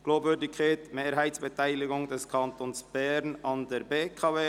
«Glaubwürdige Mehrheitsbeteiligung des Kantons Bern an der BKW AG […]».